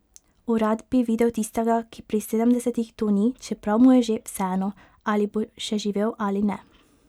O, rad bi videl tistega, ki pri sedemdesetih to ni, čeprav mu je že vseeno, ali bo še živel ali ne.